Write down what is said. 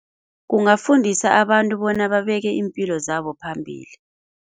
Kungafundisa abantu bona babeke iimpilo zabo phambili.